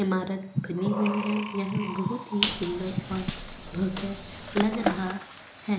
इमारत बनी हुई है यह बहुत ही सुंदर और भव्य लग रहा है ।